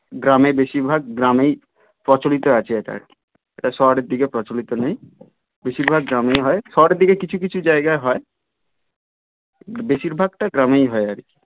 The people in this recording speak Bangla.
গ্রামে বেশির ভাগ গ্রামে প্রচলিত আছে এটা আর কি এটা শহরের দিকে প্রচলিত নেই বেশির ভাগ গ্রামেই হয় শহরের দিকে কিছু কিছু জায়গায় হয় বেশির ভাগটা গ্রামেই হয় আর কি